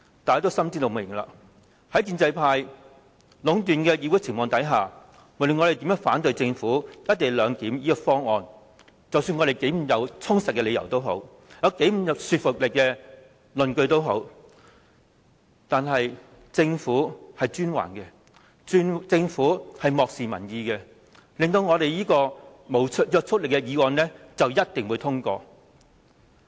大家心知肚明，在建制派壟斷議會的情況下，無論我們如何反對政府"一地兩檢"的方案，不管我們的理由如何充實、論據如何具說服力，但是專橫的、漠視民意的政府，是一定能夠令這項不具約束力的議案獲得通過。